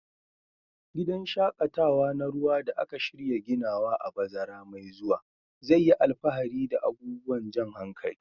Gidan shaƙatawa na ruwa da aka shirya ginawa a bazara mai zuwa zai yi alfahari da abubuwan jan hankali.